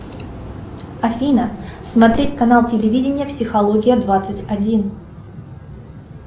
афина смотреть канал телевидения психология двадцать один